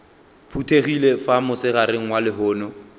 phuthegile fa mosegareng wa lehono